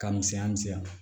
Ka misɛnya misɛnya